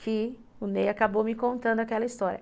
que o Ney acabou me contando aquela história.